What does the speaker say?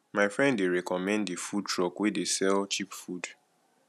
my friend dey recommend di food truck wey dey sell cheap food